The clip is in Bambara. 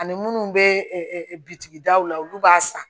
Ani munnu bɛ bitigi daw la olu b'a san